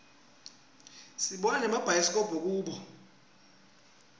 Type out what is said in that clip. sibona nemabhayisikobho kubo